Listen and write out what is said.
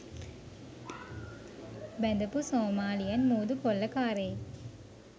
බැඳපු Somalian මූදු කොල්ල කාරයෙක්